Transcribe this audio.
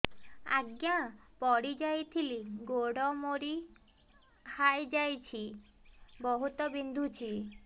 ଆଜ୍ଞା ପଡିଯାଇଥିଲି ଗୋଡ଼ ମୋଡ଼ି ହାଇଯାଇଛି ବହୁତ ବିନ୍ଧୁଛି